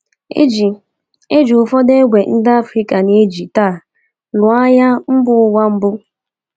E ji E ji ụfọdụ égbè ndị Afrịka na-eji taa lụọ Agha Mba Ụwa Mbụ.